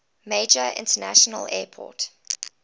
major international airport